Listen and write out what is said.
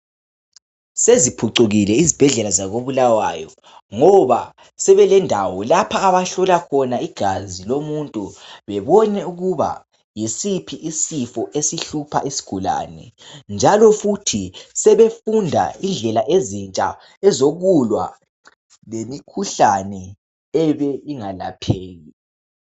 Seziphucukule izibhedlela zakoBulawayo ngoba sebelendawo lapho abahlola khona igazi babone ukuba yisiphi isifo esihlupha isigulane njalo futhi sebefunda indlela ezintsha zokulwa lemikhuhlane ebingelapheki.